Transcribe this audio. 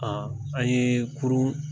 A an ye kurun